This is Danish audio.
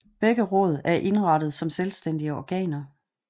Begge råd er indrettet som selvstændige organer